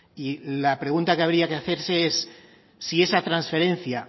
y la pregunta que habría que hacerse es si esa transferencia